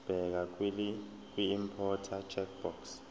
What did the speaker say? bheka kwiimporter checkbox